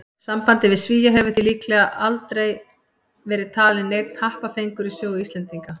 Sambandið við Svía hefur því líklega aldrei verið talinn neinn happafengur í sögu Íslendinga.